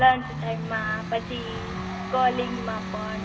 lunch time માં પછી calling માં પણ